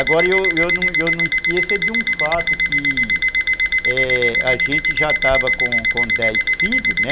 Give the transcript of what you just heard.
Agora, eu eu eu não esqueço é de um fato que a gente já estava com dez filhos, né?